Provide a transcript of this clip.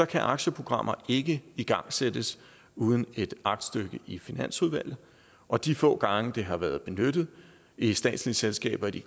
kan aktieprogrammer ikke igangsættes uden et aktstykke i finansudvalget og de få gange det har været benyttet i statslige selskaber i